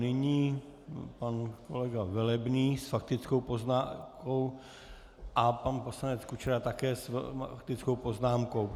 Nyní pan kolega Velebný s faktickou poznámkou a pan poslanec Kučera také s faktickou poznámkou.